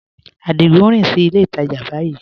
Adigun n rìn sí ilẹ̀ ìtajá báyìí